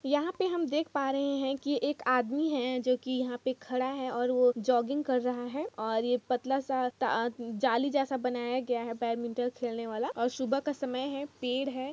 यहां पे हम देख पा रहे हैं की एक आदमी है जो की यहां पे खड़ा है और वो जॉगिंग कर रहा है और ये पतला सा ता जाली जैसा बनाया गया हेै बैडमिण्टल खेलने वाला और सुबह का समय है पेड़ है।